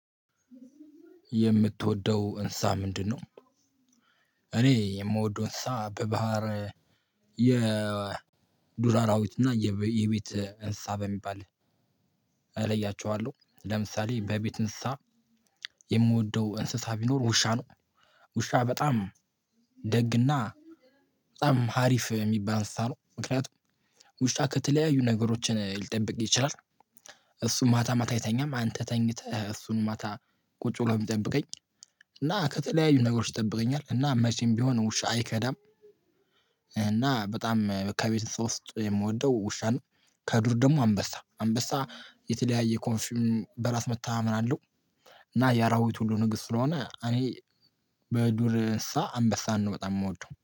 የምትወደው እንሳ ምንድነው? እኔ የምወደው እንስሳ በባህር የዱር አራዊት እና የቤት እንስሳ በሚባል እለያቸዋለሁ ለምሳሌ በቤት እንስሳ የምወደው እንስሳ ቢኖር ውሻ ነው። ውሻ በጣም ደግና በጣም ሀሪፍ የሚባል እንስሳ ነው ምክንያቱም ውሻ ከተለያዩ ነገሮች ሊጠብቅህ ይችላል እሱም ማታ ማታ አይተኛም አንተ ተኝተህ እሱንም ማታ ቁጭ ብሎ የሚጠብቀኝ እና ከተለያዩ ነገሮች ይጠብቀኛል እና መቼም ቢሆን ውሻ አይከዳም እና በጣም ከቤት እንስሳ ውስጥ የምወደው ውሻ ነው። ከዱር ደግሞ አንበሳ አንበሳ የተለያየ ኮንፊውም በራስ መታመን አለው እና የአራዊት ሁሉ ንጉስ ስለሆነ እኔ በዱር እንስሳ አንበሳ ነው በጣም የምወደው።